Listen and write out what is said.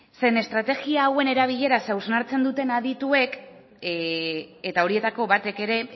zeren estrategia hauen erabileraz hausnartzen duten adituek eta horietako batek ere